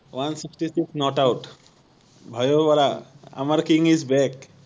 one sixty six not out ভাৱিব পাৰা আমাৰ king is back